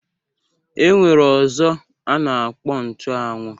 E nwere ọzọ a na-akpọ nchuanwu